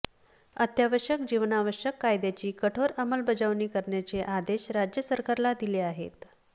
अत्यावश्यक जीवनावश्यक कायद्याची कठोर अंमलबजावणी करण्याचे आदेश राज्य सरकारला दिले आहेत